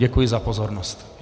Děkuji za pozornost.